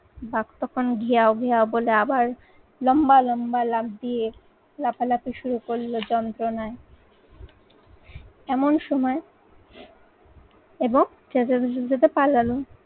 বাঘ তখন ঘেয় ঘেয় বলে আবার লম্বা লম্বা লাফ দিয়ে লাফালাফি শুরু করলো যন্ত্রণায়। এমন সময় এবং চেঁচামেচির সাথে পালালো।